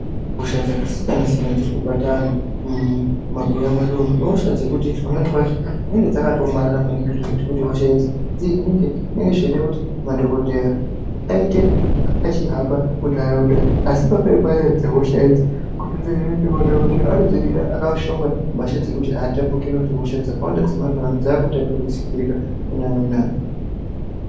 Hosha dzakasiyana-siyana dzirikubata vantu mumabuya mwedumo ihosha dzekuti pamweni pacho dzinenge dzakatoomarara zvekuti kuti hosha idzi dzihinike zvinenge zvechidekuti madhogodheya aite achihamba muntaraunda, asi mhando dzehosha idzi kuti dzihinike, madhogodheya anodzihina akashonga nhumbi dzekuti aatapurirwi, ngekuti hosha dzemazuva ano dzakutapudzikirwa kuna amweni antu.